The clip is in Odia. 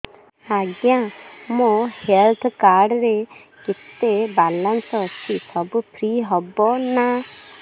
ଆଜ୍ଞା ମୋ ହେଲ୍ଥ କାର୍ଡ ରେ କେତେ ବାଲାନ୍ସ ଅଛି ସବୁ ଫ୍ରି ହବ ନାଁ